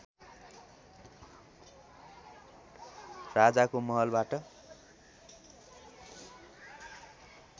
राजाको महलबाट